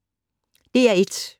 DR1